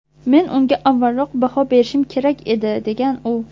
Men unga avvalroq baho berishim kerak edi”, degan u.